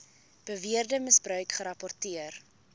beweerde misbruik gerapporteer